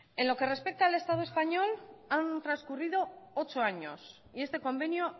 en lo que respecta al estado español han trascurrido ocho años y este convenio